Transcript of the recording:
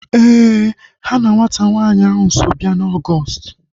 Éè, ha na nwata nwanyị ahu so bịa na Ọgọọst